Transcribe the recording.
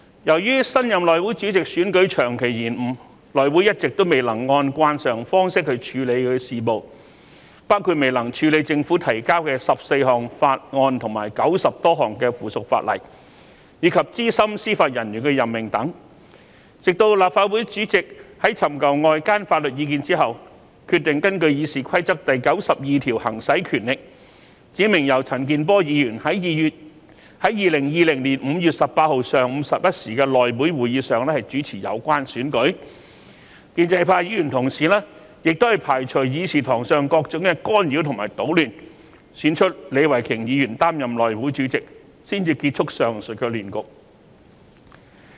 由於新任內會主席選舉長期延誤，內會一直未能按慣常方式處理事務，包括未能處理政府提交的14項法案及90多項附屬法例，以及資深司法人員任命等事項，直至立法會主席尋求外間法律意見後，決定根據《議事規則》第92條行使權力，指明由陳健波議員在2020年5月18日上午11時內會會議上主持有關選舉，建制派議員亦排除議事堂上各種干擾及搗亂，選出李慧琼議員擔任內會主席，才結束了上述亂局。